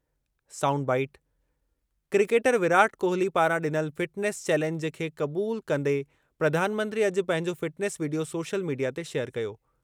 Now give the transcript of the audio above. --Sound bite-- cricketer Virat Kohli पारां डि॒नल fitness challenge खे क़बूलु कंदे प्रधानमंत्री अॼु पंहिंजो फ़िटनेस वीडियो सोशल मीडिया ते शेयर कयो।